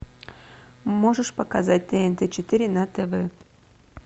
можешь показать тнт четыре на тв